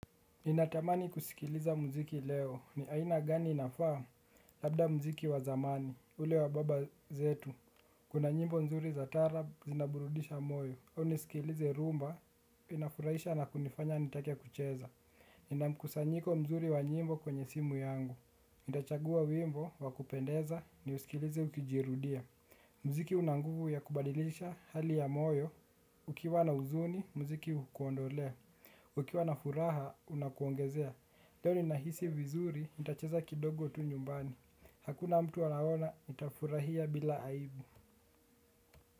Ninatamani kusikiliza muziki leo ni aina gani inafaa. Labda muziki wa zamani ule wa baba zetu. Kuna nyimbo nzuri za tarab zinaburudisha moyo au nisikilize rumba inafurahisha na kunifanya nitake kucheza ninamkusanyiko mzuri wa nyimbo kwenye simu yangu ntachagua wimbo wa kupendeza niusikilize ukijirudia. Mziki unanguvu ya kubadilisha hali ya moyo ukiwa na huzuni mziki hukuondolea ukiwa na huraha unakuongezea leo ni nahisi vizuri, nitacheza kidogo tu nyumbani. Hakuna mtu anaona, nitafurahia bila aibu.